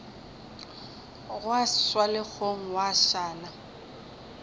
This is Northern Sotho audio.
gwa swa legong gwa šala